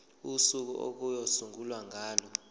usuku okuyosungulwa ngalo